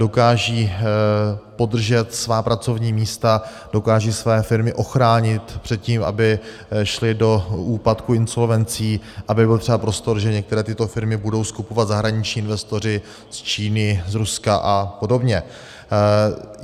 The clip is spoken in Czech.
Dokážou podržet svá pracovní místa, dokážou své firmy ochránit před tím, aby šly do úpadků, insolvencí, aby byl třeba prostor, že některé tyto firmy budou skupovat zahraniční investoři z Číny, z Ruska a podobně.